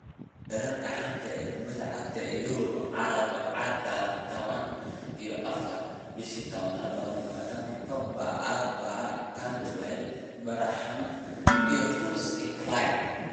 Wararka xanta kubada cagta Yurub Arbacada 14.10.2020: Pogba, Alaba, Cantwell, Benrahma, Rose, Clyne,